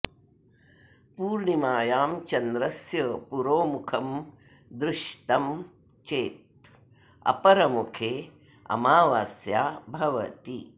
पूर्णिमायां चन्द्रस्य पुरोमुखं दृष्तं चेत् अपरमुखे अमावास्या भवति